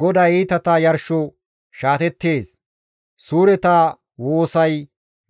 GODAY iitata yarsho shaatettees; suureta woosay